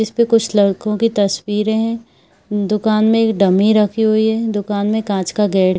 इस पे कुछ लड़कों की तस्वीरें है दुकान में एक डमी रखी हुई है दुकान में एक काॅंच का गेट --